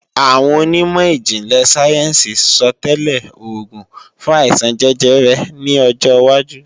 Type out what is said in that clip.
Àwọn onímọ̀ ìjìnlẹ̀ sáyẹ́ǹsì sọtẹ́lẹ̀ oògùn fún àìsàn jẹjẹrẹ ní ọjọwájú